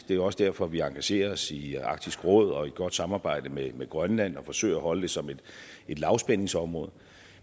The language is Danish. det er også derfor at vi engagerer os i arktisk råd i godt samarbejde med med grønland og forsøger at holde det som et lavspændingsområde